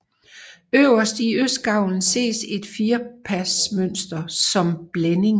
Øverst i østgavlen ses et firpasmønster som blænding